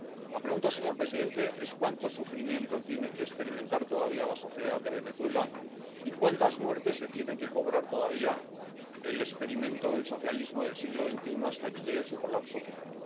La pregunta, señor presidente, es cuánto sufrimiento tiene que experimentar todavía la sociedad de Venezuela y cuántas muertes se tiene que cobrar todavía el experimento del socialismo del siglo XXI hasta que llegue su colapso final.